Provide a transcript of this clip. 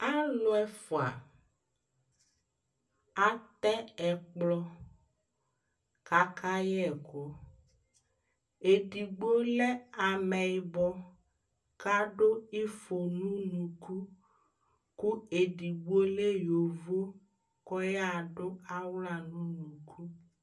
alò ɛfua atɛ ɛkplɔ k'aka yɛ ɛkò edigbo lɛ amɛyibɔ k'adu ifɔ n'unuku kò edigbo lɛ yovo k'ɔya do ala n'unuku